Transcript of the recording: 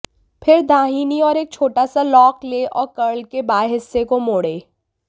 फिर दाहिनी ओर एक छोटा सा लॉक लें और कर्ल के बाएं हिस्से को मोड़ो